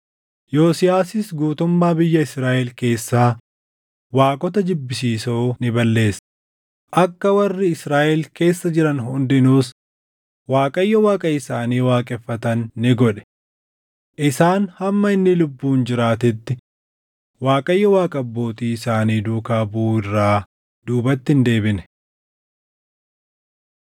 Yosiyaasis guutummaa biyya Israaʼel keessaa waaqota jibbisiisoo ni balleesse; akka warri Israaʼel keessa jiran hundinuus Waaqayyo Waaqa isaanii waaqeffatan ni godhe. Isaan hamma inni lubbuun jiraatetti Waaqayyo Waaqa abbootii isaanii duukaa buʼuu irraa duubatti hin deebine.